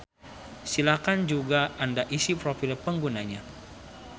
Silakan juga anda isi profil penggunanya.